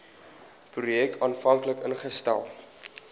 projek aanvanklik ingestel